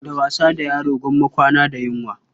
Da wasa da yaro gwamma kwana da yunwa.